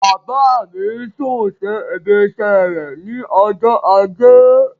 Bàbá mi sún sí ibiṣẹ́ rẹ̀ ní ọjọ́ ajé.